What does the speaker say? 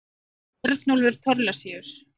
Örnólfur Thorlacius.